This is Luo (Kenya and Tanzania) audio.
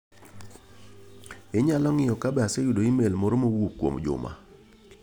Inyalo ng'iyo ka be aseyudo imel moro ma owuok kuom Juma.